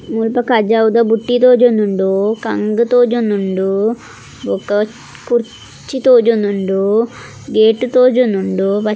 ಮುಲ್ಪ ಕಜಾವುದ ಬುಟ್ಟಿ ತೋಜೊಂದುಂಡು ಕಂಗ್ ತೋಜೊಂದುಂಡು ಬೊಕ್ಕ ಕುರ್ಚಿ ತೋಜೊಂದುಂಡು ಗೇಟ್ ತೋಜೊಂದುಂಡು.